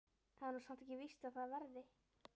Það er nú samt ekkert víst að það verði.